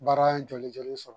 Baara ye jɔlen jɔlen sɔrɔ.